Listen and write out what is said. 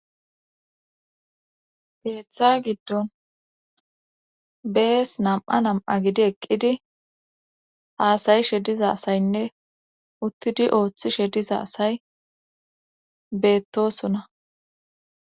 Ketha gidon besi nam'a nam'a gididi eqida asay de'osona